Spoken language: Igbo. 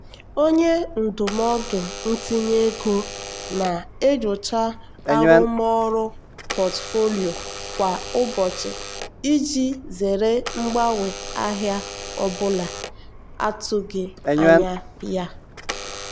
onye ndụmọdụ ntinye ego na-enyocha arụmọrụ pọtụfoliyo kwa ụbọchị iji zere mgbanwe ahịa ọ bụla atụghị anya ya.